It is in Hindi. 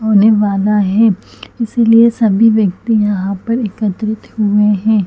होने वाला है इसलिये सभी व्यक्ति यहाँ पर एकत्रित हुये है।